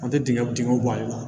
An tɛ dingɛ dingɛw bɔ ale la